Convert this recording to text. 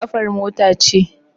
Taya kafar mota ce.